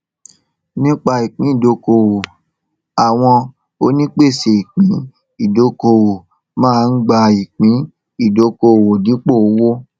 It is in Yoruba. nípa ìpín ìdókòwò àwọn onípèsè ìpín ìdókòwò máa ń gba ìpín ìdókòwò dípò owó